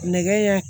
Nɛgɛ